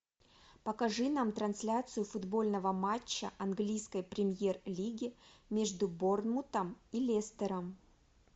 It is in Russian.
покажи нам трансляцию футбольного матча английской премьер лиги между борнмутом и лестером